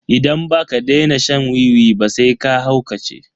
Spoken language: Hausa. Idan baka daina shan wiwi ba sai ka haukace.